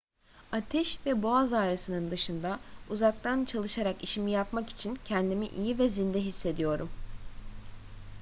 ateş ve boğaz ağrısının dışında uzaktan çalışarak işimi yapmak için kendimi iyi ve zinde hissediyorum